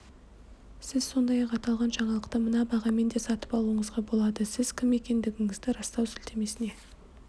сіз сондай-ақ аталған жаңалықты мына бағамен де сатып алуыңызға болады сіз кім екендігіңізді растау сілтемесіне